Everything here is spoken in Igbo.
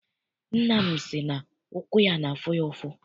Nna m si na ụkwụ ya n'afụ ya ụfụ.